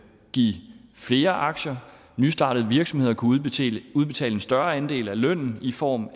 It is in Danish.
give flere aktier og nystartede virksomheder kunne udbetale en større andel af lønnen i form